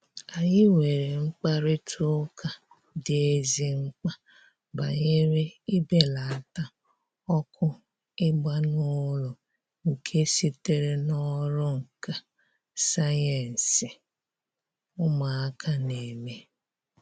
Anyị nwere mkparịta ụka dị ezi mkpa banyere ibelata ọkụ ịgba n'ụlọ nke sitere n'ọrụ nka sayensị ụmụaka na-eme